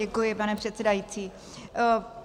Děkuji, pane předsedající.